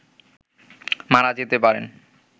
মারা যেতে পারেন